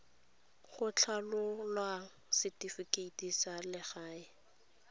go tlhabolola setifikeite sa legae